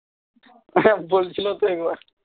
হ্যাঁ বলছিলো তো এইবার